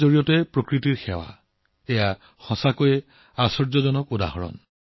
শিল্পৰ জৰিয়তে প্ৰকৃতিৰ সেৱা কৰাৰ এই উদাহৰণ সঁচাকৈয়ে আচৰিত